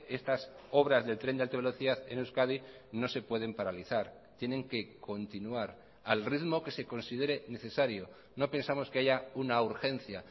estas obras del tren de alta velocidad en euskadi no se pueden paralizar tienen que continuar al ritmo que se considere necesario no pensamos que haya una urgencia